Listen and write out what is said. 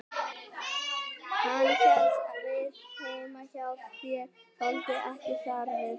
Hann hélst ekki við heima hjá sér, þoldi ekki þar við.